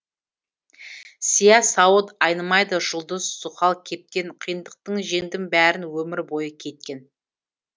сия сауыт айнымайды жұлдыз зұхал кейіптен қиындықтың жеңдім бәрін өмір бойы кейіткен